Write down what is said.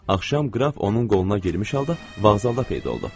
Axşam qraf onun qoluna girmiş halda vağzalda peyda oldu.